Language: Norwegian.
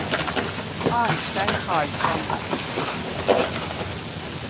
Arnstein Karlsson